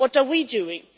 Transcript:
What are we doing?